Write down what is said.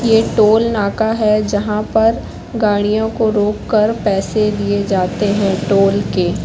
यह टोल नाका है जहां पर गाड़ियों को रोक कर पैसे दिए जाते हैं टोल के।